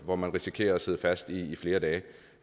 hvor man risikerer at sidde fast i flere dage